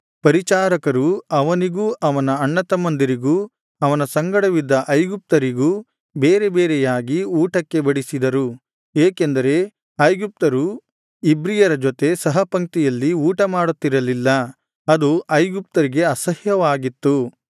ಪರಿಚಾರಕರು ಅವನಿಗೂ ಅವನ ಅಣ್ಣತಮ್ಮಂದಿರಿಗೂ ಅವನ ಸಂಗಡವಿದ್ದ ಐಗುಪ್ತರಿಗೂ ಬೇರೆ ಬೇರೆಯಾಗಿ ಊಟಕ್ಕೆ ಬಡಿಸಿದರು ಏಕೆಂದರೆ ಐಗುಪ್ತರು ಇಬ್ರಿಯರ ಜೊತೆ ಸಹಪಂಕ್ತಿಯಲ್ಲಿ ಊಟಮಾಡುತ್ತಿರಲಿಲ್ಲ ಅದು ಐಗುಪ್ತರಿಗೆ ಅಸಹ್ಯವಾಗಿತ್ತು